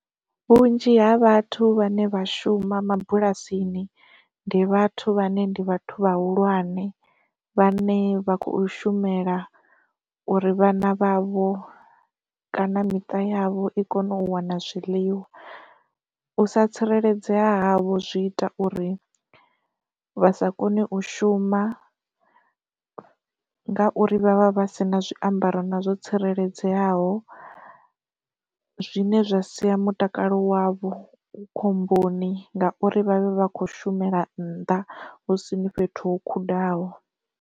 Vhunzhi ha vhathu vhane vha shuma mabulasini ndi vhathu vhane ndi vhathu vhahulwane vhane vha khou shumela uri vhana vhavho kana miṱa yavho i kone u wana zwiḽiwa. U sa tsireledzea havho zwi ita uri vha sa koni u shuma ngauri vhavha vha sina zwiambaro na zwo tsireledzeaho, zwine zwa sia mutakalo wavho khomboni ngauri vhavhe vha kho shumela nnḓa husini fhethu ho khudano.